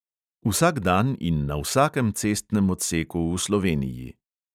Vsak dan in na vsakem cestnem odseku v sloveniji.